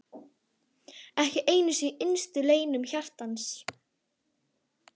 Ekki einu sinni í innstu leynum hjartans!